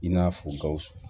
I n'a fɔ gawusu